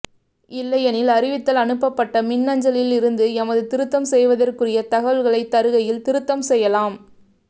இல்லையெனில் அறிவித்தல் அனுப்பட்ட மின்னஞ்சலில் இருந்து எமது திருத்தம் செய்வதற்குரிய தகவல்களை தருகையில் திருத்தம் செய்யலாம்